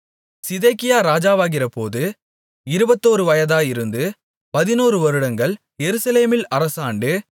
சிதேக்கியா ராஜாவாகிறபோது இருபத்தொரு வயதாயிருந்து பதினோரு வருடங்கள் எருசலேமில் அரசாண்டு